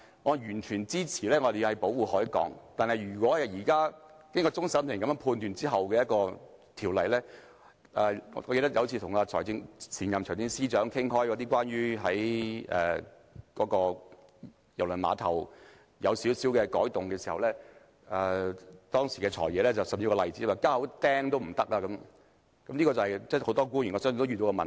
我完全支持保護海港，但若現時終審法院的判決......我記得有一次跟前任財政司司長討論對郵輪碼頭作出少許改動的問題，當時"財爺"說，連釘一口釘也不可以，我相信這是很多官員都遇到的問題。